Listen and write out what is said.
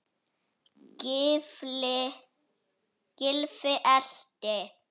Gylfi elti.